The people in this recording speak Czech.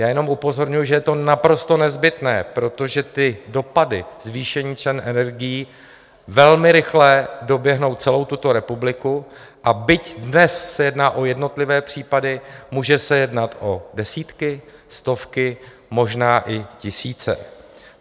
Já jenom upozorňuji, že je to naprosto nezbytné, protože ty dopady zvýšení cen energií velmi rychle doběhnou celou tuto republiku, a byť dnes se jedná o jednotlivé případy, může se jednat o desítky, stovky, možná i tisíce.